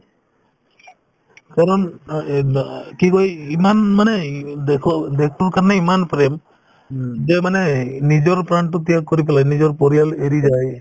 কাৰণ আ এক বা আ কি কই ইমান মানে ই দেশৰ~ দেশৰ কাৰণে ইমান প্ৰেম যে মানেই নিজৰ প্ৰাণতো ত্যাগ কৰি পেলাই নিজৰ পৰিয়াল এৰি যায়